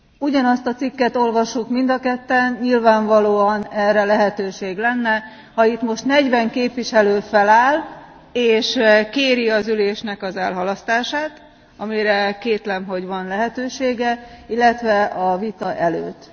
Ugyanazt a cikket olvassuk mind a ketten, nyilvánvalóan erre lehetőség lenne, ha itt most 40 képviselő feláll és kéri az ülésnek az elhalasztását, amire kétlem, hogy van lehetősége, illetve a vita előtt.